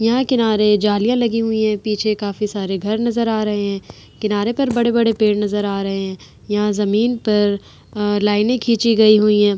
यहां किनारे जालियां लगी हुई हैं। पीछे काफी सारे घर नजर आ रहे हैं। किनारे पर बड़े-बड़े पेड़ नजर आ रहे हैं। यहां जमीन पर अ लाइने खींची गई हुई हैं।